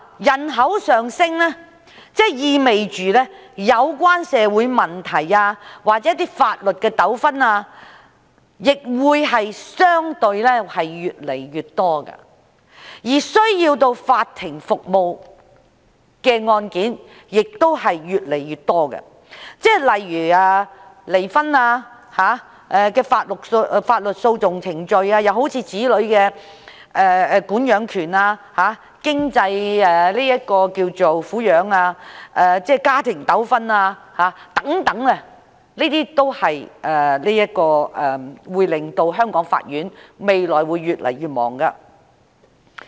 人口上升意味着有關社會問題或法律的糾紛會相對地越來越多，而需要法庭服務的案件亦會越來越多，例如離婚的法律訴訟程序、子女管養權、經濟上的贍養安排、家庭糾紛等都會令香港法院未來越來越忙碌。